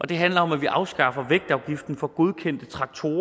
det handler om at vi afskaffer vægtafgiften for godkendte traktorer